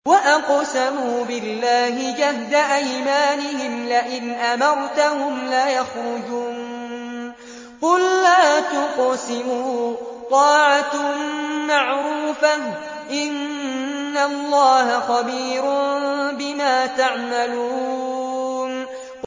۞ وَأَقْسَمُوا بِاللَّهِ جَهْدَ أَيْمَانِهِمْ لَئِنْ أَمَرْتَهُمْ لَيَخْرُجُنَّ ۖ قُل لَّا تُقْسِمُوا ۖ طَاعَةٌ مَّعْرُوفَةٌ ۚ إِنَّ اللَّهَ خَبِيرٌ بِمَا تَعْمَلُونَ